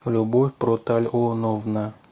любовь протальоновна